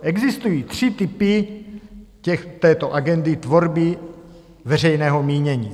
Existují tři typy této agendy tvorby veřejného mínění.